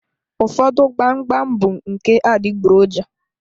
Ụfọdụ gbam gbam bụ nke adịgboroja.